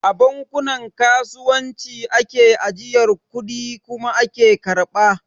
A bankunan kasuwanci ake ajiyar kudi kuma ake karɓa